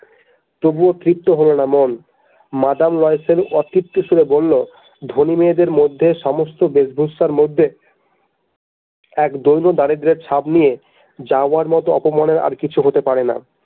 তবু তৃপ্ত হলোনা মন মাদাম লয়সেল অতৃপ্ত সুরে বলল ধনী মেয়েদের মধ্যে সমস্ত বেশভূষার মধ্যে এক দৈন দারিদ্রের ছাপ নিয়ে যাওয়ার মতো অপমানের আর কিছু হতে পারে না।